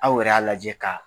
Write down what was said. Aw yɛrɛ y'a lajɛ ka